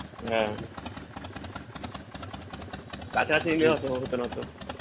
হ্যাঁ কাছাকাছি নিলে হতো না অতো